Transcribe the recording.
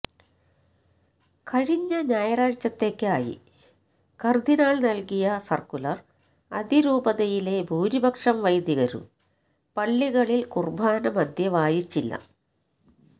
കഴിഞ്ഞ ഞായറാഴ്ചത്തേക്കായി കര്ദിനാള് നല്കിയ സര്ക്കുലര് അതിരുപതയിലെ ഭൂരിപക്ഷം വൈദികരും പള്ളികളില് കുര്ബാന മധ്യേ വായിച്ചില്ല